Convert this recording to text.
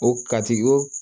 O katiko